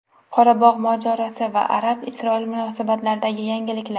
Qorabog‘ mojarosi va Arab-Isroil munosabatlaridagi yangiliklar.